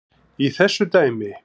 í þessu dæmi.